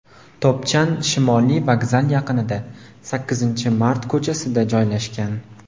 Topchan Shimoliy vokzal yaqinida, Sakkizinchi mart ko‘chasida joylashgan.